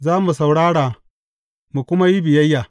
Za mu saurara, mu kuma yi biyayya.